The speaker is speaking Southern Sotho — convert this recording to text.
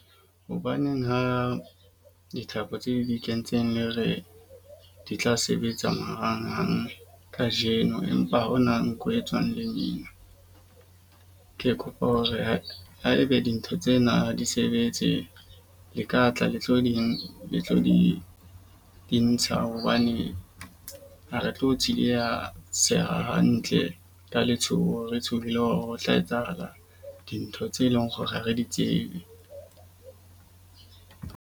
Hobaneng ha dithapo tse di kentseng le re di tla sebetsa marangrang kajeno, empa hona nko e tswang lemina. Ke kopa hore ha ho e be dintho tsena di sebetse, le ka tla le tlo ding le tlo di di ntsha hobane ha re tlo tsieleha seha hantle ka letshoho re tshohile hore ho tla etsahala dintho tse leng hore ha re di tsebe.